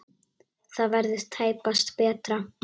Það verður tæpast betra.